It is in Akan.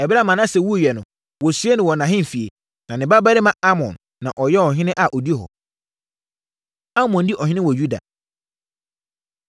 Ɛberɛ a Manase wuiɛ no, wɔsiee no wɔ nʼahemfie. Na ne babarima Amon na ɔyɛɛ ɔhene a ɔdi hɔ. Amon Di Ɔhene Wɔ Yuda